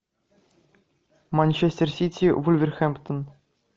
манчестер сити вулверхэмптон